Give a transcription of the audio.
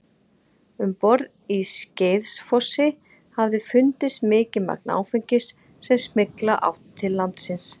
Um borð í Skeiðsfossi hafði fundist mikið magn áfengis sem smygla átti til landsins.